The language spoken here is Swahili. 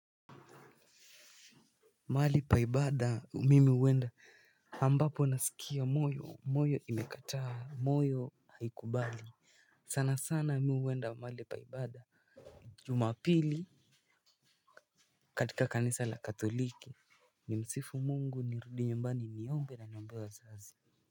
Mali pa ibada mimi huenda ambapo nasikia moyo moyo imekataa moyo haikubali sana sana mimi huenda mali pa ibada. Jumapili katika kanisa la katoliki nimsifu mungu nirudi nyumbani niombe na niombe wazazi.